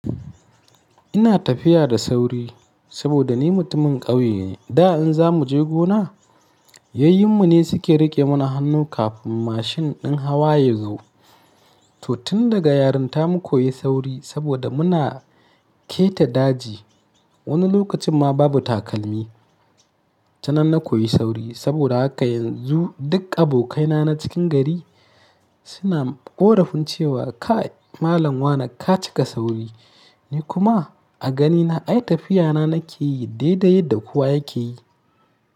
Ina tafiya da sauri saboda ni mutumin ƙauye ne. Da in za mu je gona, yayyun mu ne suke riƙe mana hannu kafin mashin din hawa ya zo. To tun daga yaranta mu koyi sauri saboda muna keta daji. Wani lokacin ma babu takalmi. Tanan na koyi sauri saboda haka yanzu duk abokai na na cikin gari suna ƙorafin cewa kai Malam Wani ka cika sauri. Ni kuma a ganina ai tafiya na nake yi dai dai yadda kowa yake yi.